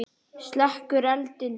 Slekkur eldinn.